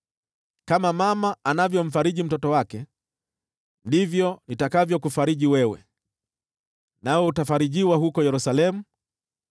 Kama mama anavyomfariji mtoto wake, ndivyo nitakavyokufariji wewe, nawe utafarijiwa huko Yerusalemu.”